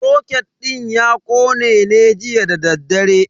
Soket din ya kone ne jiya dadaddare.